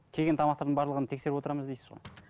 келген тамақтардың барлығын тексеріп отырамыз дейсіз ғой